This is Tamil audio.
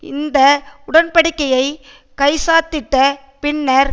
இந்த உடன் படிக்கையை கைச்சாத்திட்ட பின்னர்